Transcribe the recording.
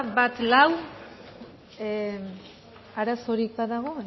bat lau arazorik badago